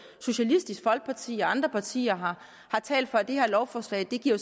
socialistisk folkeparti og andre partier har talt for at det her lovforslag giver